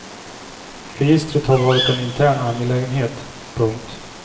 Registret har varit en intern angelägenhet. punkt